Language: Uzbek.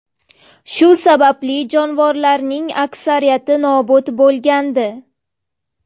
Shu sababli jonivorlarning aksariyati nobud bo‘lgandi.